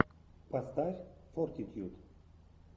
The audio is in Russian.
поставь фортитьюд